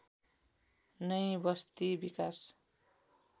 नै बस्ती विकास